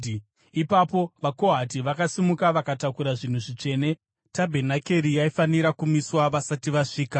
Ipapo vaKohati vakasimuka, vakatakura zvinhu zvitsvene. Tabhenakeri yaifanira kumiswa vasati vasvika.